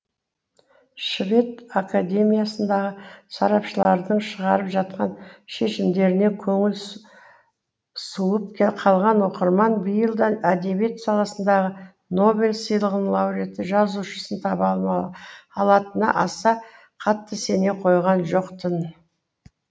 швед академиясындағы сарапшылардың шығарып жатқан шешімдеріне көңілі суып қалған оқырман биыл да әдебиет саласындағы нобель сыйлығының лауриаты жазушысын таба алатынына аса қатты сене қойған жоқ тын